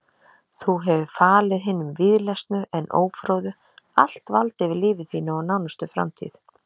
Þú hefur falið hinum víðlesnu en ófróðu allt vald yfir lífi þínu og nánustu framtíð.